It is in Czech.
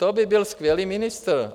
To by byl skvělý ministr.